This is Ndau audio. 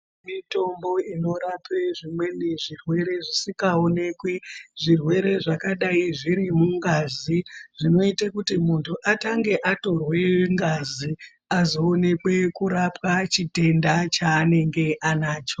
Mitombo inorapa zvimweni zvirwere zvisikaonekwi, zvirwere zvingadai zvirimungazi zvinoite kuti muntu atange atorwe ngazi azoonekwe kurapwa chitenda cheanenge anacho.